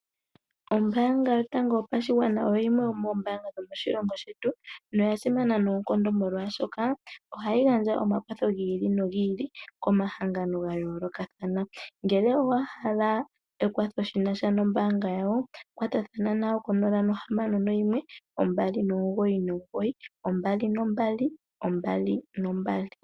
Ombanga yotango yopashigwana oyo yimwe yomoombanga dhomoshilongo shetu noya simana noonkondo molwashoka ohayi gandja omakwatho giili nogiili komahangano gayolokathana. Ngele owa hala ekwatho shinasha nombanga yawo kwatathana nayo konola nohamano noyimwe ombali nomugoyi nomugoyi ombali nombali, ombali nombali.